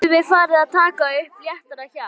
Þá getum við farið að taka upp léttara hjal!